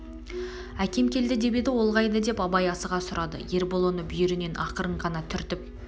әкем келді деп еді ол қайда деп абай асыға сұрады ербол оны бүйірінен ақырын ғана түртіп